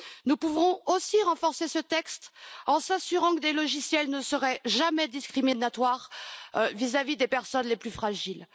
Nous pouvons aussi renforcer ce texte en nous assurant que les logiciels ne seront jamais discriminatoires envers les personnes les plus fragiles.